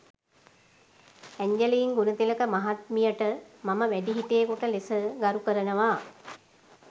Angeline Gunathilaka මහත්මියට මම වැඩිහිටියෙකුට ලෙස ගරු කරනවා.